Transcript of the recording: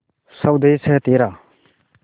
स्वदेस है तेरा